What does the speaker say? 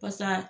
Pasa